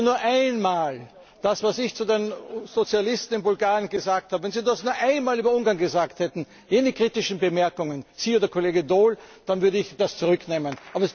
Wenn Sie nur einmal das, was ich zu den Sozialisten in Bulgarien gesagt habe, wenn Sie das nur einmal über Ungarn gesagt hätten, jene kritischen Bemerkungen, Sie oder Kollege Daul, dann würde ich das zurücknehmen.